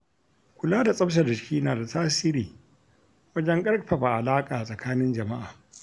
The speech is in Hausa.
Kula da tsaftar jiki nada tasiri wajen ƙarfafa alaƙa tsakanin jama'a.